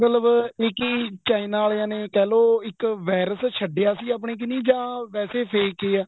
ਮਤਲਬ ਇਹ ਕਿ china ਆਲਿਆ ਨੇ ਕਹਿਲੋ ਇੱਕ virus ਛੱਡਿਆ ਸੀ ਆਪਣੇ ਕਰਨੀ ਜਾ ਵੈਸੇ fake ਈ ਆ